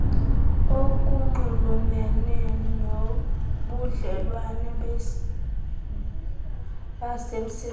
okunxulumene nobudlelwane basemsebenzini